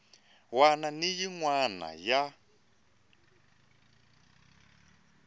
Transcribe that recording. wana ni yin wana ya